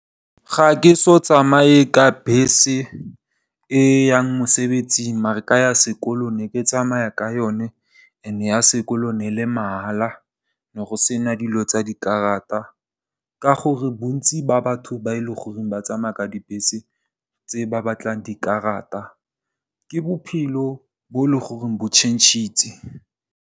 Ga ke so tsamaye ka bese e yang mosebetsing maar ka ya sekolo ne ke tsamaya ka yone and ya sekolo ne le mahala ne go sena dilo tsa dikarata. Ka gore bontsi ba batho ba e leng gore ba tsamaya ka dibese tse ba batlang dikarata, ke bophelo, bo tšhentšhitse.